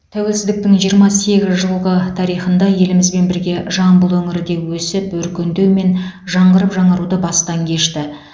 тәуелсіздіктің жиырма сегіз жылғы тарихында елімізбен бірге жамбыл өңірі де өсіп өркендеу мен жаңғырып жаңаруды бастан кешті